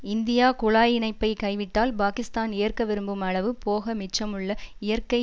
India குழாய் இணைப்பை கைவிட்டால் பாகிஸ்தான் ஏற்க விரும்பும் அளவு போக மிச்சமுள்ள இயற்கை